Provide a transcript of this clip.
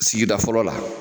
Sigida fɔlɔ la